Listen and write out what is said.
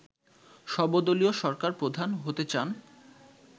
সর্ব দলীয় সরকার প্রধান হতে চান